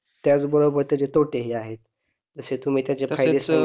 त्याच बरोबर त्याचे तोटे ही आहे जसे तुम्ही त्याचे